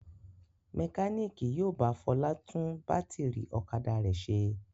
Mẹkáníkì yóò bá Fọlá tún bátírí ọ̀kadà rẹ̀ ṣe.